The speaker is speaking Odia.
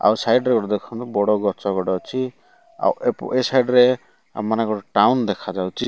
ଆଉ ସାଇଡ଼ ରେ ଗୋଟେ ଦେଖନ୍ତୁ ବଡ ଗଛ ଗୋଟେ ଅଛି ଆଉ ଏପ ଏ ସାଇଡ଼ ରେ ଆମମାନଙ୍କର ଟାଉନ ଦେଖା ଯାଉଛି।